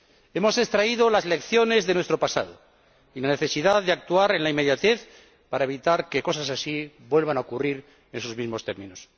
Hemos extraído las lecciones de nuestro pasado y la necesidad de actuar en la inmediatez para evitar que cosas así vuelvan a ocurrir en sus mismos términos.